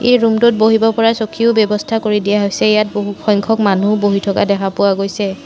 এই ৰূমটোত বহিব পৰা চকীৰও ব্যৱস্থা কৰি দিয়া হৈছে ইয়াত বহুসংখ্যক মানুহো বহি থকা দেখা পোৱা গৈছে।